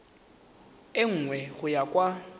e nngwe go ya kwa